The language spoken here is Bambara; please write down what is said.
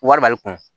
Wari b'ale kun